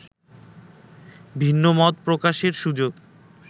ভিন্নমত প্রকাশের সুযোগ